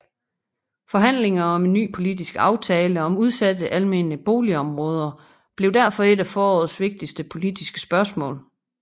Forhandlinger om en ny politisk aftale om udsatte almene boligområder blev derfor et af forårets vigtige politiske spørgsmål